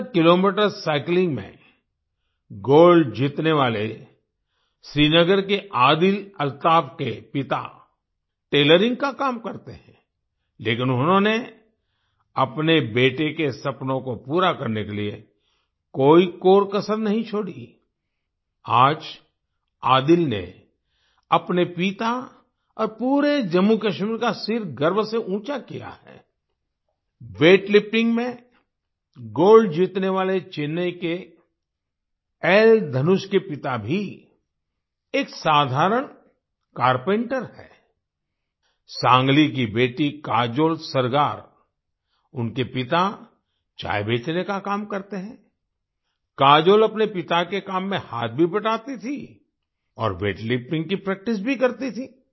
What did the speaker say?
70 kilometre cycling में gold जीतने वाले श्रीनगर के आदिल अल्ताफ के पिता टेलरिंग का काम करते हैं लेकिन उन्होंने अपने बेटे के सपनों को पूरा करने के लिए कोई कोरकसर नहीं छोड़ी आई आज आदिल ने अपने पिता और पूरे जम्मूकश्मीर का सिर गर्व से ऊँचा किया है आई वेट लिफ्टिंग में गोल्ड जीतने वाले चेन्नई के एल धनुष के पिता भी एक साधारण कारपेंटर हैं आई सांगली की बेटी काजोल सरगार उनके पिता चाय बेचने का काम करते हैं आई काजोल अपने पिता के काम में हाथ भी बंटाती थीं और वेट लिफ्टिंग की प्रैक्टिस भी करती थीं